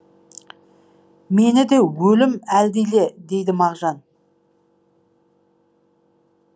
мені де өлім әлдиле дейді мағжан